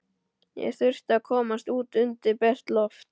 Ég þurfti að komast út undir bert loft.